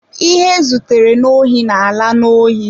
Ihe e zutere n'ohi na-ala n'ohi.